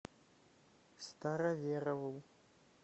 староверову